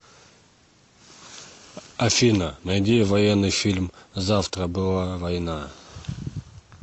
афина найди военный фильм завтра была война